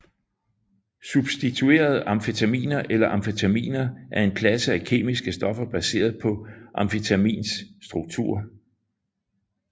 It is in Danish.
Substituerede amfetaminer eller amfetaminer er en klasse af kemiske stoffer baseret på amfetamins struktur